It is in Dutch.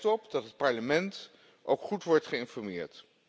We hebben er recht op dat het Parlement ook goed wordt geïnformeerd.